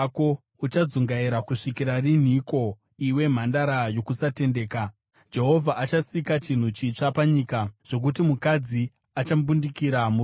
Uchadzungaira kusvikira rinhiko, iwe mwanasikana wokusatendeka? Jehovha achasika chinhu chitsva panyika, zvokuti mukadzi achambundikira murume.”